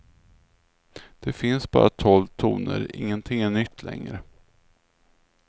Det finns bara tolv toner, ingenting är nytt längre.